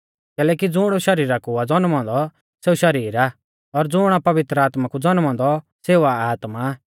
कैलैकि ज़ुण शरीरा कु आ ज़न्मौ औन्दौ सेऊ शरीर आ और ज़ुण आ पवित्र आत्मा कु ज़न्मौ औन्दौ सेऊ आ आत्मा